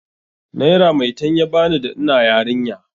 Naira maitan ya bani da ina yarinya.